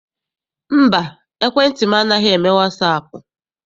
Mba, ekwentị m anaghị eme wasaapụ.